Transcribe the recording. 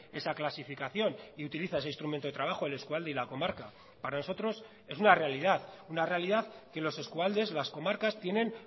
esa clasificación y utiliza ese instrumento de trabajo el eskualde y la comarca para nosotros es una realidad una realidad que los eskualdes las comarcas tienen